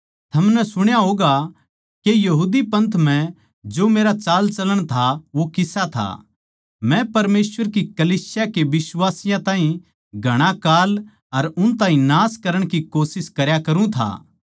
थमनै सुणा होगा के यहूदी पंथ म्ह जो मेरा चालचलण था वो किसा था मै परमेसवर की कलीसिया के बिश्वासियाँ ताहीं घणा काल अर उन ताहीं नाश करण की कोशिश करया करुँ था